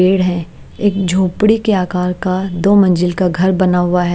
पेड़ है एक झोपड़ी के आकार का दो मंजिल का घर बना हुआ है।